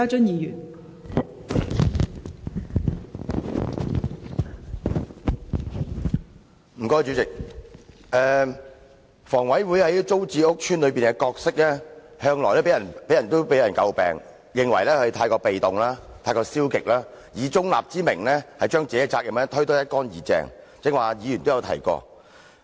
代理主席，房委會在租置屋邨的角色向來被人詬病，認為過於被動和消極，以中立之名把應承擔的責任推得一乾二淨，剛才陳議員都提過這點。